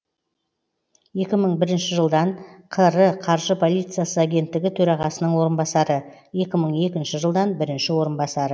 екі мың бірінші жылдан қр қаржы полициясы агенттігі төрағасының орынбасары екі мың екінші жылдан бірінші орынбасары